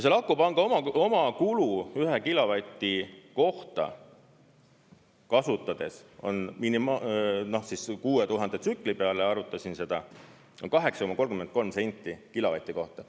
Selle akupanga omakulu 1 kilovati kohta kasutades – 6000 tsükli peale ma arvutasin seda – on 8,33 senti kilovati kohta.